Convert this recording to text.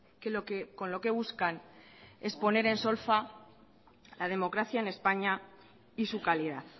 que con lo que buscan es poner en solfa la democracia en españa y su calidad